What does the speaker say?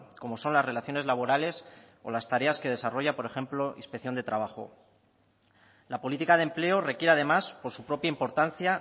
como son las relaciones laborales o las tareas que desarrolla por ejemplo inspección de trabajo la política de empleo requiere además por su propia importancia